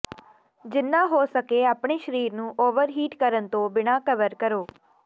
ਜਿੰਨਾ ਹੋ ਸਕੇ ਆਪਣੇ ਸਰੀਰ ਨੂੰ ਓਵਰਹੀਟ ਕਰਨ ਤੋਂ ਬਿਨ੍ਹਾਂ ਕਵਰ ਕਰੋ